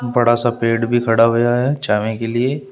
बड़ा सा पेड़ भी खड़ा होया है छावें के लिए।